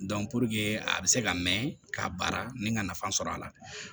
a bɛ se ka mɛn k'a baara ni ka nafa sɔrɔ a la